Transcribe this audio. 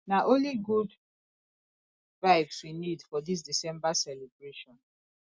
na only good vibes we need for dis december celebration